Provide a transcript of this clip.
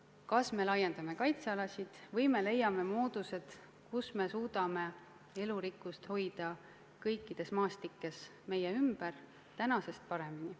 Kas me laiendame kaitsealasid või leiame moodused, kuidas hoida elurikkust kõikides maastikes meie ümber tänasest paremini.